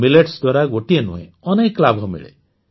millets ଦ୍ୱାରା ଗୋଟିଏ ନୁହେଁ ଅନେକ ଲାଭ ମିଳେ